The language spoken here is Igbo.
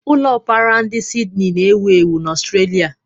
Ụlọ Opura ndi Sidni na-ewu ewu na Australia.